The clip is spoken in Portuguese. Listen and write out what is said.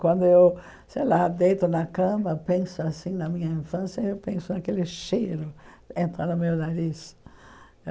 Quando eu sei lá deito na cama penso assim na minha infância, eu penso naquele cheiro entra no meu nariz.